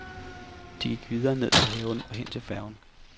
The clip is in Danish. De gik videre ned til havnen og hen til færgen.